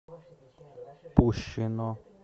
пущино